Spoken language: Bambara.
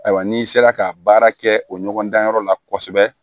Ayiwa n'i sera ka baara kɛ o ɲɔgɔndanyɔrɔ la kosɛbɛ